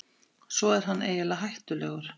Svo er hann eiginlega hættulegur.